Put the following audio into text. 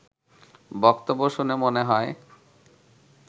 বক্তব্য শুনে মনে হয়